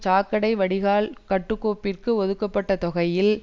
சாக்கடை வடிகால் கட்டுக்கோப்பிற்கு ஒதுக்கப்பட்ட தொகையில்